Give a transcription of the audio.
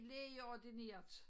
Lægeordineret